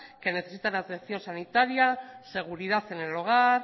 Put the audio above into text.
que necesitan atención sanitaria seguridad en el hogar